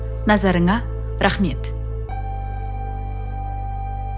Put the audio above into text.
назарыңа рахмет